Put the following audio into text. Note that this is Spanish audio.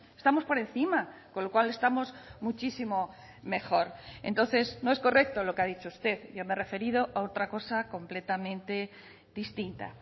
estamos por encima con lo cual estamos muchísimo mejor entonces no es correcto lo que ha dicho usted yo me he referido a otra cosa completamente distinta